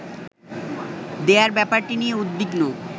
দেয়ার ব্যাপারটি নিয়ে উদ্বিগ্ন